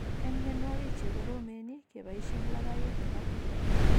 En mianwagik chekoromen, kebaishen labaiyet nebo PUVA